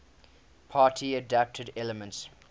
party adapted elements